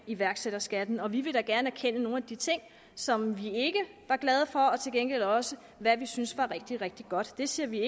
iværksætterskatten vi vil da gerne erkende nogle af de ting som vi ikke var glade for men til gengæld også hvad vi synes var rigtig rigtig godt det ser vi